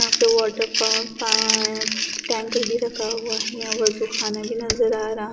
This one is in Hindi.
वाटर पार्क यहां पे टैंक भी रखा हुआ है यहां वजूखाना आ रहा--